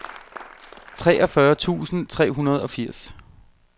treogfyrre tusind tre hundrede og firs